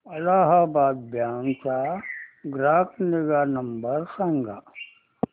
Allahabad bank चा ग्राहक निगा नंबर सांगा